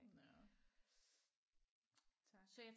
Nåh tak